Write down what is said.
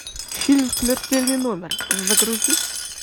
фильм смертельный номер загрузи